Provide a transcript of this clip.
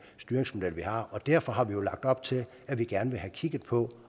styringsmodel vi har og derfor har vi jo lagt op til at vi gerne vil have kigget på